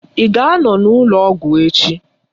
Ị ga anọ n'ụlọ ọgwụ echi?